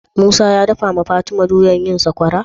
Musa ya dakawa fatima doyar yin sakwarar?